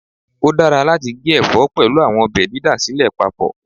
O dara lati ge ẹfọ pẹlu awọn ọbẹ didasilẹ pupọ